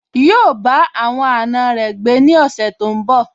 Yíò bá àwọn àna rẹ̀ gbé ní ọ̀sẹ̀ tó n bọ̀